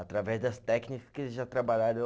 Através das técnicas que eles já trabalharam